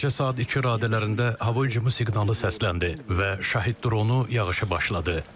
Gecə saat iki radələrində hava hücumu siqnalı səsləndi və şahid dronu yağışı başladı.